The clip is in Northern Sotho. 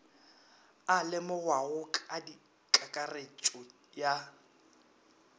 a lemogwago ka kakaretšo ya